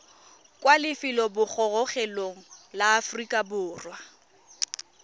kwa lefelobogorogelong la aforika borwa